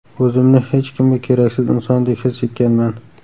O‘zimni hech kimga keraksiz insondek his etganman.